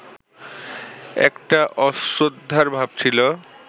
একটা অশ্রদ্ধার ভাব ছিল